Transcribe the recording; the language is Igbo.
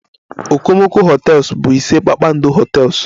Okomoko hotels bụ ise kpakpando hotels